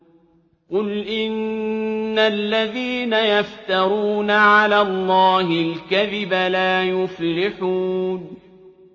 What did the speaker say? قُلْ إِنَّ الَّذِينَ يَفْتَرُونَ عَلَى اللَّهِ الْكَذِبَ لَا يُفْلِحُونَ